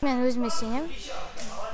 мен өзіме сенемін